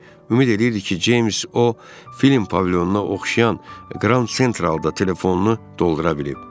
Ümid eləyirdi ki, Ceyms o film pavilyonuna oxşayan Grand Centralda telefonunu doldura bilib.